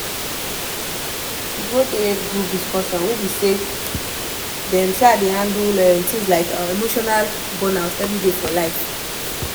she go um group discussion wey be say dem um dey handle um emotional burnout everyday for life